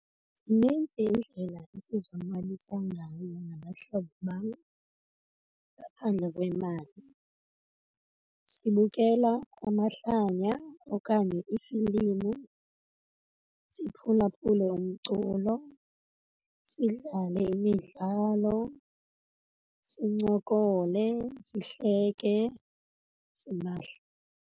Zinintsi iindlela esizonwabisa ngayo nabahlobo bam ngaphandle kwemali. Sibukela amahlanya okanye iifilimu, siphulaphule umculo, sidlale imidlalo, sincokole, sihleke simahla.